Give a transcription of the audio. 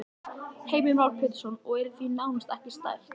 Heimir Már Pétursson: Og í því er nánast ekki stætt?